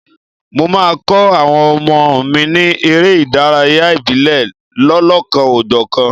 Mo máa kọ́ àwọn ọmọ mi ní eré ìdárayá ìbílẹ̀ lọ́lọ́kan-ò-jọ̀kan.